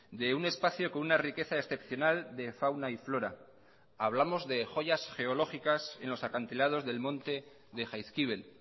de un espacio con una riqueza excepcional de fauna y flora hablamos de joyas geológicas en los acantilados del monte de jaizkibel